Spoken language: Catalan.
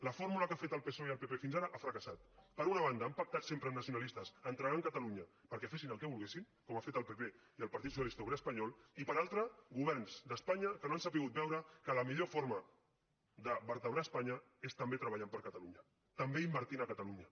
la fórmula que ha fet el psoe i el pp fins ara ha fracassat per una banda han pactat sempre amb nacionalistes entregant catalunya perquè fessin el que volguessin com ha fet el pp i el partit socialista obrer espanyol i per altra governs d’espanya que no han sabut veure que la millor forma de vertebrar espanya és també treballant per a catalunya també invertint a catalunya